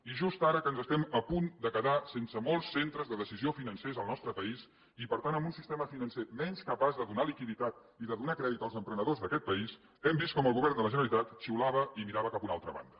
i just ara que ens estem a punt de quedar sense molts centres de decisió financers al nostre país i per tant amb un sistema financer menys capaç de donar liquiditat i de donar crèdit als emprenedors d’aquest país hem vist com el govern de la generalitat xiulava i mirava cap a una altra banda